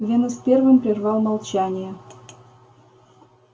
венус первым прервал молчание